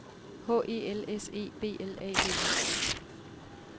H E L S E B L A D E